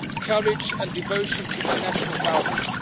courage and devotion to their national values.